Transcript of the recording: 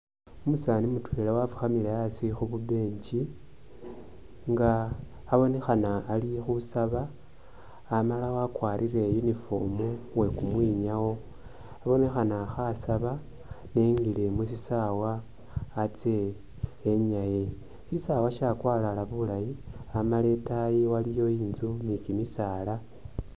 Umusani mutwela wafukhamile asi khu'kubench nga abonekhana alikhusaba Amala wakwarile uniform uwe kumwinyawo abonekhana khasaba engile musisawa atse enyae. Sisawa shakwalala bulayi Amala itaayi waliyo intzu ni kimisaala